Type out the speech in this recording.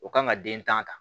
O kan ka den tan ta